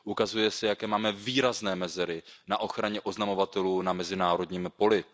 Ukazuje se, jaké máme výrazné mezery na ochraně oznamovatelů na mezinárodním poli.